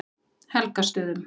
Helgastöðum